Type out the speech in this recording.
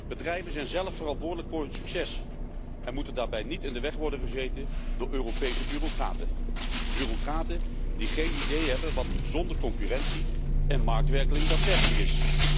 Bedrijven zijn zelf verantwoordelijk voor hun succes en moeten daarbij niet in de weg worden gezeten door Europese bureaucraten, bureaucraten die geen idee hebben wat gezonde concurrentie en marktwerking daadwerkelijk is.